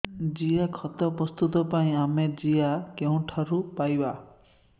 ଜିଆଖତ ପ୍ରସ୍ତୁତ ପାଇଁ ଆମେ ଜିଆ କେଉଁଠାରୁ ପାଈବା